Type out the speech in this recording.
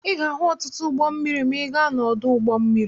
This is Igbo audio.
Ị ga-ahụ ọtụtụ ụgbọ mmiri ma ị gaa n'ọdụ ụgbọ mmiri.